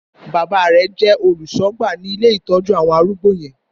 Bàbá rẹ̀ jẹ́ oluṣọgba ní ilé ìtọ́jú àwọn arúgbó yẹn.